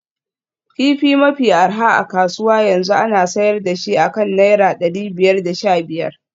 Kifi mafi arha a kasuwa yanzu ana sayar da shi akan naira dari biyar da sha biyar